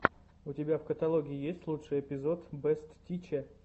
у тебя в каталоге есть лучший эпизод бэст тиче